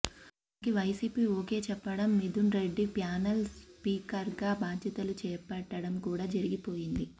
దానికి YCP okay చెప్పడం Mithun Reddy panel స్పీకర్గా భాధ్యతలు చేపట్టడం కూడా జరిగిపోయింది